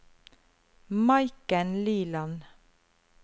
Maiken Liland